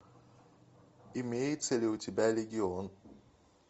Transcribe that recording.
имеется ли у тебя легион